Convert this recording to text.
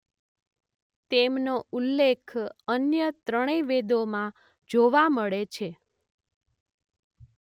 તેમનો ઉલ્લેખ અન્ય ત્રણેય વેદો માં જોવા મળે છે.